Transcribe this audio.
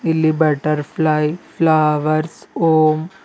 ಇಲ್ಲಿ butterfly flowers ಓಂ--